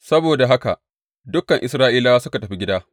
Saboda haka dukan Isra’ilawa suka tafi gida.